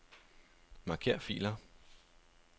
Marker filer.